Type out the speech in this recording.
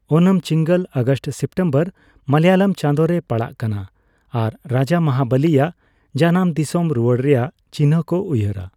ᱳᱱᱚᱢ ᱪᱤᱸᱜᱚᱞ(ᱟᱜᱚᱥᱴᱼᱥᱤᱛᱚᱢᱵᱚᱨ) ᱢᱟᱞᱭᱟᱞᱚᱢ ᱪᱟᱸᱫᱚ ᱨᱮ ᱯᱟᱲᱟᱜ ᱠᱟᱱᱟ ᱟᱨ ᱨᱟᱡᱟ ᱢᱚᱦᱟᱵᱚᱞᱤ ᱭᱟᱜ ᱡᱟᱱᱟᱢ ᱫᱚᱥᱚᱢ ᱨᱩᱣᱟᱹᱲ ᱨᱮᱭᱟᱜ ᱪᱤᱱᱦᱟᱹ ᱠᱚ ᱩᱭᱦᱟᱹᱨᱟ᱾